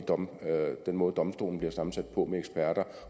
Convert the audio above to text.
den måde domstolen bliver sammensat på fremover med eksperter